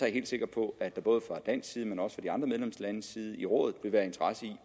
helt sikker på at der både fra dansk side og fra de andre medlemslandes side i rådet vil være interesse i